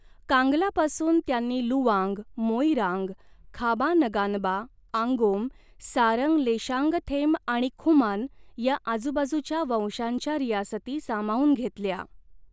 कांगलापासून त्यांनी लुवांग, मोइरांग, खाबा नगानबा, आंगोम, सारंग लेशांगथेम आणि खुमान, ह्या आजूबाजूच्या वंशांच्या रियासती सामावून घेतल्या.